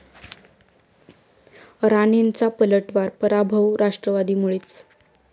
राणेंचा पलटवार, पराभव राष्ट्रवादीमुळेच!